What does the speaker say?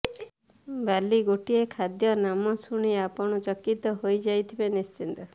ବାଲି ଗୋଟିଏ ଖାଦ୍ୟ ନାମ ଶୁଣି ଆପଣ ଚକିତ ହୋଇଯାଉଥିବେ ନିଶ୍ଚିତ